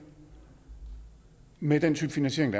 med den type finansiering